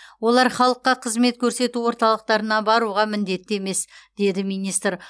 олар халыққа қызмет көрсету орталықтарына баруға міндетті емес деді министр